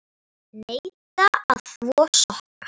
Neita að þvo sokka.